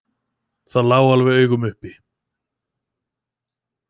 Það lá alveg í augum uppi.